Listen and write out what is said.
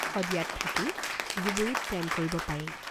সদীয়াত থাকি ধুবুৰীত প্ৰেম কৰিব পাৰি।